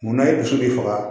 Munna ye dusu de faga